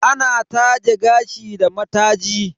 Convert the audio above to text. Ana taje gashi da mataji.